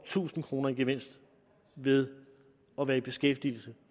tusind kroner i gevinst ved at være i beskæftigelse